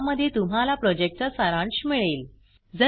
ज्यामध्ये तुम्हाला प्रॉजेक्टचा सारांश मिळेल